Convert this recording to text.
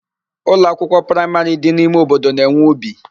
Ụlọakwụkwọ praimarị dị n'ime obodo na-enwe ubi.